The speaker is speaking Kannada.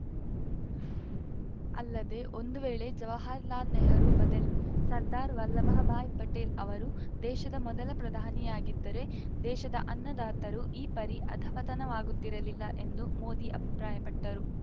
ಅಲ್ಲದೆ ಒಂದು ವೇಳೆ ಜವಾಹರಲಾಲ್‌ ನೆಹರೂ ಬದಲಿ ಸರ್ದಾರ್‌ ವಲ್ಲಭಭಾಯ್‌ ಪಟೇಲ್‌ ಅವರು ದೇಶದ ಮೊದಲ ಪ್ರಧಾನಿಯಾಗಿದ್ದರೆ ದೇಶದ ಅನ್ನದಾತರು ಈ ಪರಿ ಅಧಃಪತನವಾಗುತ್ತಿರಲಿಲ್ಲ ಎಂದು ಮೋದಿ ಅಭಿಪ್ರಾಯಪಟ್ಟರು